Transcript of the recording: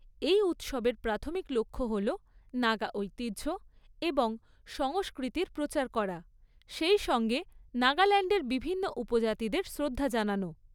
এই উৎসবের প্রাথমিক লক্ষ্য হল নাগা ঐতিহ্য এবং সংস্কৃতির প্রচার করা, সেই সঙ্গে নাগাল্যান্ডের বিভিন্ন উপজাতিদের শ্রদ্ধা জানানো।